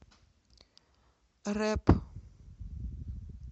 рэп